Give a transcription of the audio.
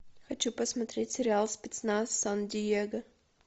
хочу посмотреть сериал спецназ сан диего